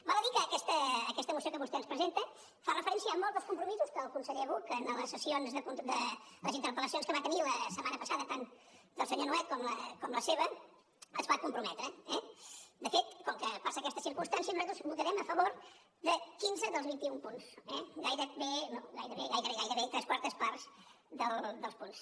val a dir que aquesta moció que vostè ens presenta fa referència a molts dels compromisos a què el conseller buch en les interpel·lacions que va tenir la setmana passada tant del senyor nuet com la seva es va comprometre eh de fet com que passa aquesta circumstància nosaltres votarem a favor de quinze dels vint i un punts gairebé gairebé tres quartes parts dels punts